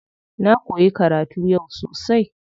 Na koyi karatu yau sosai.